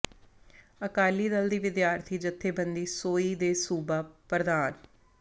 ਅਕਾਲੀ ਦਲ ਦੀ ਵਿਦਿਆਰਥੀ ਜਥੇਬੰਦੀ ਸੋਈ ਦੇ ਸੂਬਾ ਪ੍ਰਧ